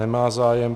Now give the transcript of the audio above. Nemá zájem.